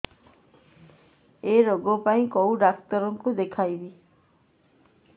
ଏଇ ରୋଗ ପାଇଁ କଉ ଡ଼ାକ୍ତର ଙ୍କୁ ଦେଖେଇବି